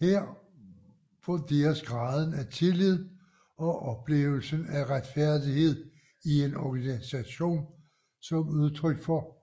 Her vurderes graden af tillid og oplevelsen af retfærdighed i en organisation som udtryk for